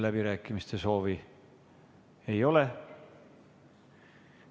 Läbirääkimiste soovi ei ole.